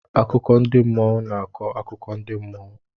Akụkọ ndị mmụọ na-akọ akụkọ ndị mmụọ.